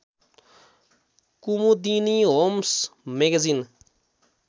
Kumudini homes magazine